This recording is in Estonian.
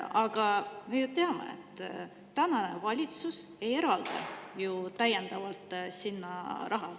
Aga me ju teame, et tänane valitsus ei eralda täiendavalt sinna raha.